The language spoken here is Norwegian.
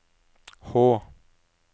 H